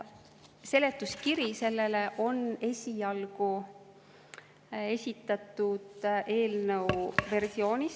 Selle on esitatud eelnõu esialgse seletuskirja versioonis.